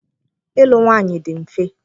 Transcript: Ịlụ nwaanyị dị mfe.